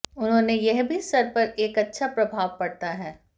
उन्होंने यह भी सिर पर एक अच्छा प्रभाव पड़ता है